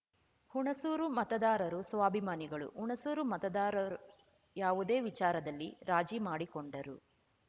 ಹುಣಸೂರುಮತದಾರರು ಸ್ವಾಭಿಮಾನಿಗಳು ಹುಣಸೂರು ಮತದಾರರುಯಾವುದೇ ವಿಚಾರದಲ್ಲಿರಾಜಿ ಮಾಡಿಕೊಂಡರೂ